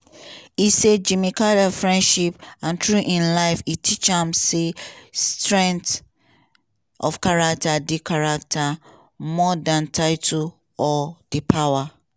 e say "jimmy carter friendship and through im life e teach me say strength of character dey character dey more than title or di power